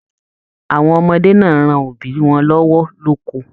Àwọn ọmọdé náà ran òbí wọn lọwọ loko.